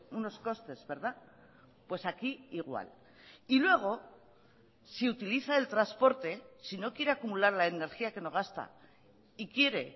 unos costes verdad pues aquí igual y luego si utiliza el transporte si no quiere acumular la energía que no gasta y quiere